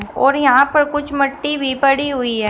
और यहां पर कुछ मिट्टी भी पड़ी हुई है।